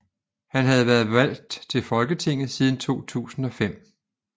Han har været valgt til Folketinget siden 2005